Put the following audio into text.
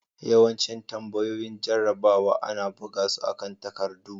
Yawancin tambayoyin jarrabawa ana buga su akan takardu.